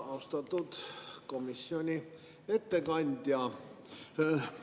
Austatud komisjoni ettekandja!